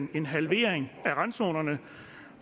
i en halvering af randzonerne